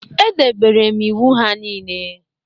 Edebere m iwu ha niile